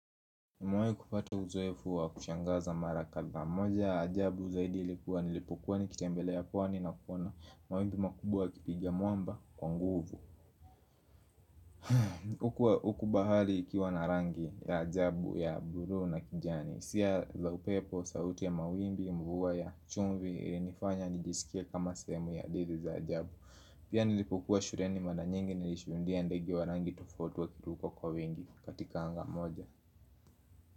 Nimewai kupata uzoefu wa kushangaza mara kadhaa. Moja ya ajabu zaidi ilikuwa nilipokuwa nikitembelea pwani na kuona mawimbi makubwa yakipigia mwamba kwa nguvu. Uku bahari ikiwa na rangi ya ajabu ya buluu na kijani. Hisia za upepo, sauti ya mawimbi, mvua ya chumvi ilinifanya nijisikie kama sehemu ya didi za ajabu. Pia nilipokuwa shuleni mara nyingi nilishuhudia ndege wa rangi tufauti wakiruka kwa wengi katika anga moja.